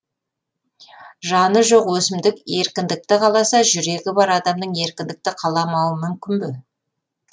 жаны жоқ өсімдік еркіндікті қаласа жүрегі бар адамның еркіндікті қаламауы мүмкін бе